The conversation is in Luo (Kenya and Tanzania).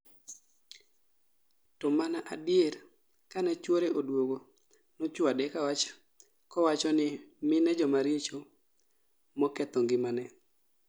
To mana adier kane chuore oduogo nochwade kowacho ni mine jomaricho moketho ngimane